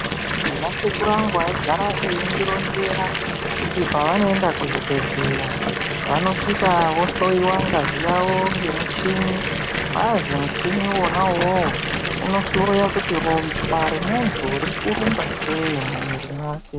Ndina sekuru angu ayi gara eyindi ronzera kuti pavano enda ku zvibhedhleya vanosvika vo hloyiwa ngazi yavo nge muchini hazii muchini wona iwowo uno hloya kuti ropa re muntu riri kurumba sei mu mwiri mwake.